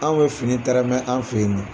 Anw bɛ fini tɛrɛmɛ an fɛ yen nɔ.